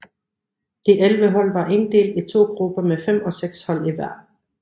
De 11 hold var inddelt i to grupper med fem og seks hold i hver